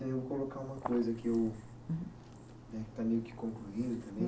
Eu vou colocar uma coisa que o eh, está meio que concluído também.